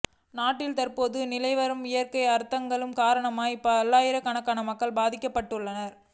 நாட்டில் தற்போது நிலவிவரும் இயற்கை அனர்த்தங்களின் காரணமாக பல்லாயிரக்கணக்கான மக்கள் பதிக்கப்பட்டுள்ளனர்